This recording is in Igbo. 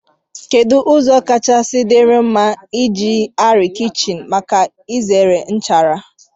kedu ụzọ kacha dịrị mma iji arịa kichin maka izere nchara?